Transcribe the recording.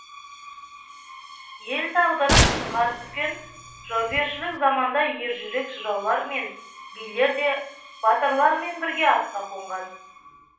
ел тағдыры сынған түскен жаугершілік заманда ержүрек жыраулар мен билер де батырлармен бірге атқа қонған